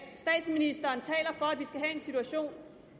vi skal have en situation